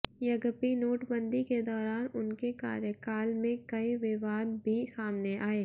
यद्यपि नोटबंदी के दौरान उनके कार्यकाल में कई विवाद भी सामने आये